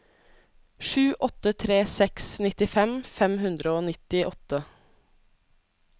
sju åtte tre seks nittifem fem hundre og nittiåtte